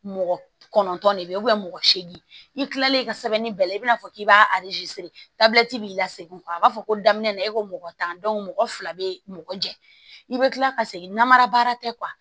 Mɔgɔ kɔnɔntɔn de bɛ yen mɔgɔ segin i kilalen i ka sɛbɛnni bɛɛ lajɛlen i bina fɔ k'i b'a b'i la segin a b'a fɔ ko daminɛ na e ko mɔgɔ tan mɔgɔ fila bɛ mɔgɔ jɛ i bɛ kila ka segin namara baara tɛ